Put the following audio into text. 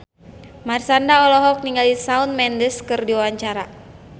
Marshanda olohok ningali Shawn Mendes keur diwawancara